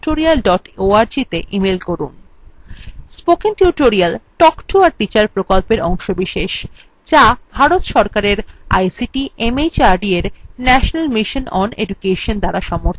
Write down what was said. spoken tutorial talk to a teacher প্রকল্পের অংশবিশেষ যা ভারত সরকারের ict mhrd এর national mission on education দ্বারা সমর্থিত